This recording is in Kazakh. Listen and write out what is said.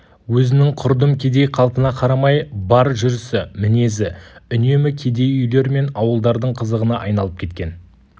өзінің құрдым кедей қалпына қарамай бар жүрісі мінезі үнемі кедей үйлер мен ауылдардың қызығына айналып кеткен